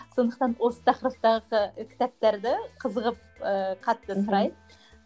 сондықтан осы тақырыптағы кітаптарды қызығып ыыы қатты сұрайды